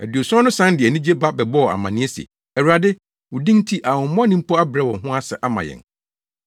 Aduɔson no san de anigye ba bɛbɔɔ amanneɛ se, “Awurade, wo din nti ahonhommɔne mpo abrɛ wɔn ho ase ama yɛn.”